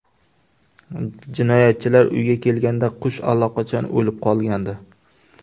Jinoyatchilar uyga kelganda qush allaqachon o‘lib qolgandi.